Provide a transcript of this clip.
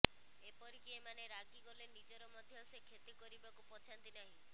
ଏପରିକି ଏମାନେ ରାଗିଗଲେ ନିଜର ମଧ୍ୟ ସେ କ୍ଷତି କରିବାକୁ ପଛାନ୍ତି ନାହିଁ